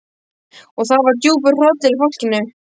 Og það var djúpur hrollur í fólkinu.